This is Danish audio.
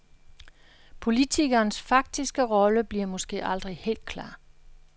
Politikerens faktiske rolle bliver måske aldrig helt klar.